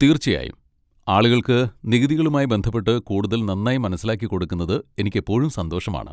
തീർച്ചയായും, ആളുകൾക്ക് നികുതികളുമായി ബന്ധപ്പെട്ട് കൂടുതൽ നന്നായി മനസ്സിലാക്കിക്കൊടുക്കുന്നത് എനിക്കെപ്പോഴും സന്തോഷമാണ്.